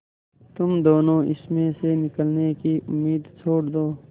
तुम दोनों इसमें से निकलने की उम्मीद छोड़ दो